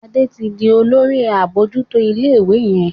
Ade tí dì Olórí abojuto ilé ìwé yén.